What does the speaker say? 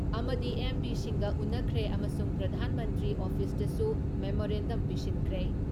ꯑꯃꯗꯤ ꯑꯦꯝ.ꯄꯤꯁꯤꯡꯒ ꯎꯟꯅꯈ꯭ꯔꯦ ꯑꯃꯁꯨꯡ ꯄ꯭ꯔꯙꯥꯟ ꯃꯟꯇ꯭ꯔꯤ ꯑꯣꯐꯤꯁꯇꯁꯨ ꯃꯦꯃꯣꯔꯦꯟꯗꯝ ꯄꯤꯁꯤꯟꯈ꯭ꯔꯦ ꯫